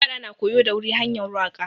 Ƴara na koyo da wuri hanƴar waka.